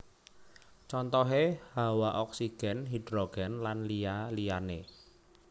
Contohé Hawa oksigèn hidrogèn lan liya liyané